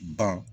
Ban